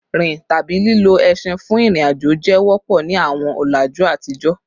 Rin tabi lilo ẹṣin fun irin-ajo jẹ wọpọ ni awọn ọlaju atijọ